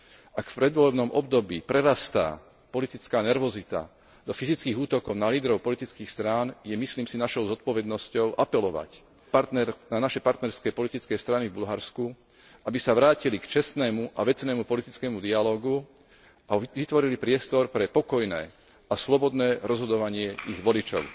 Ak v predvolebnom období prerastá politická nervozita do fyzických útokov na lídrov politických strán, je, myslím si, našou zodpovednosťou apelovať na naše partnerské politické strany v Bulharsku, aby sa vrátili k čestnému a vecnému politickému dialógu a vytvorili priestor pre pokojné a slobodné rozhodovanie ich voličov.